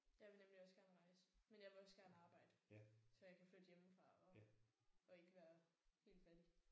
Jeg vil nemlig også gerne rejse men jeg vil også gerne arbejde så jeg kan flytte hjemmefra og og ikke være helt fattig